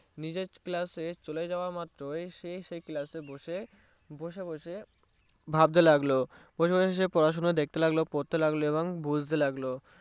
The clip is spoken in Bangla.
মিজের Class এ চোলে যাওয়া মাত্রই সে সেই Class বসে বসে ভাবতে লাগলো বসে বসে সে পড়াশোনা দেখতে লাগলো পড়তে লাগলোএবং বুঝতে লাগল